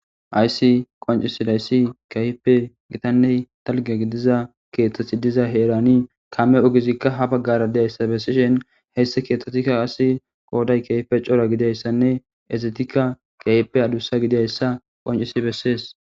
Aysi qoncisida issi keeyipe gitanne dalgga gidiza keeththati diza heerani kame ogizikka ha baggara de'iya issa bessishin, he issi keettattikka qasi qooday keeyippe cora gida issanne ezatikka keeyippe adussa gida issa qoncisi bessees.